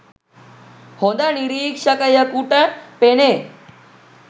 හොඳ නිරීක්ෂකයකුට පෙනේ